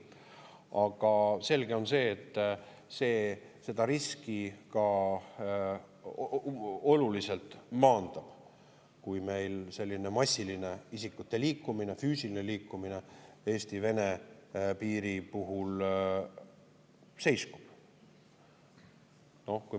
Aga selge on see, et seda riski maandab oluliselt ka see, kui meil massiline isikute liikumine, füüsiline liikumine Eesti-Vene piiril seiskub.